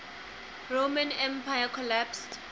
roman empire collapsed